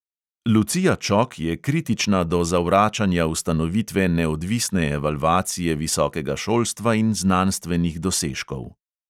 Lucija čok je kritična do zavračanja ustanovitve neodvisne evalvacije visokega šolstva in znanstvenih dosežkov.